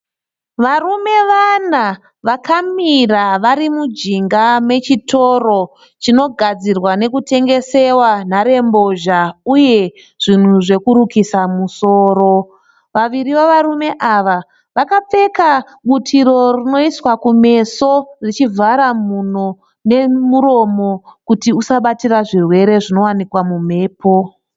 Varume vana vakamira vari mujinga mechitoro chinogadzirwa nekutengesewa nharembozha uye zvinhu zvekurukisa musoro. Vaviri vevarume ava vakapfeka butiro rinoiswa kumeso richivhara mhuno nemuromo kuti usabatira zvirwere zvinowanika mumhepo